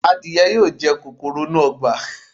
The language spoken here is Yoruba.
Adìẹ yóò jẹ kòkòrò inú ọgbà.